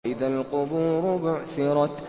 وَإِذَا الْقُبُورُ بُعْثِرَتْ